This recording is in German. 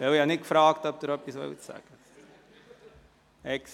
Ich habe nämlich vorhin nicht gefragt, ob Sie noch etwas sagen wollen.